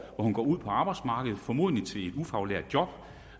hvor hun går ud på arbejdsmarkedet formodentlig til et ufaglært job